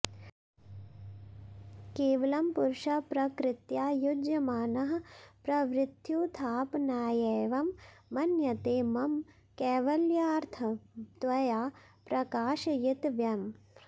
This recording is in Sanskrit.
केवलं पुरुषः प्रकृत्या युज्यमानः प्रवृत्त्युत्थापनायैवं मन्यते मम कैवल्यार्थं त्वया प्रकाशयितव्यम्